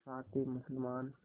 साथ ही मुसलमान